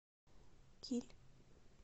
киль